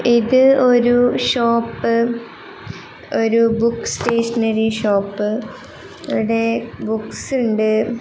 ഇത് ഒരു ഷോപ്പ് ഒരു ബുക്ക് സ്റ്റേഷനറി ഷോപ്പ് ഇവിടെ ബുക്സ് ഉണ്ട്.